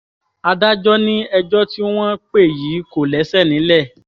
adájọ́ ni ẹjọ́ tí wọ́n pè yìí kò lẹ́sẹ̀ nílẹ̀